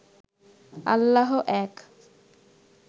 আল্লাহ এক